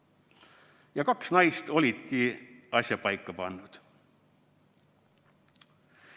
Ja kaks naist olidki asja paika pannud.